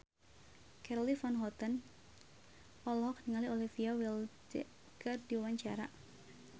Charly Van Houten olohok ningali Olivia Wilde keur diwawancara